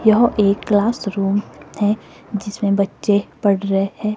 यह एक class room है जिसमें बच्चे पढ़ रहे हैं।